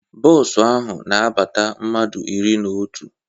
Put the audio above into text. Bos ahụ na abata mmadụ iri na otu